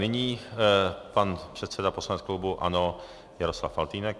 Nyní pan předseda poslaneckého klubu ANO Jaroslav Faltýnek.